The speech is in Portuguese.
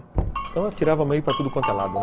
Então eu tirava meio para tudo quanto é lado, né?